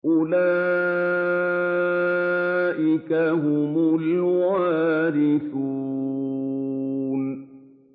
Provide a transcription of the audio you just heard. أُولَٰئِكَ هُمُ الْوَارِثُونَ